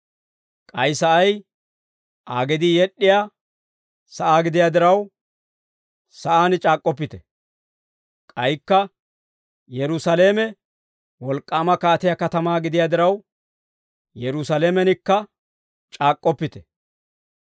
k'ay sa'ay Aa gedii yed'd'iyaa sa'aa gidiyaa diraw, ‹Sa'aan c'aak'k'oppite›; k'aykka, Yerusaalame wolk'k'aama kaatiyaa katamaa gidiyaa diraw, ‹Yerusaalamenikka c'aak'k'oppite.›